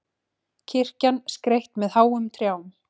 Kirkjan skreytt með háum trjám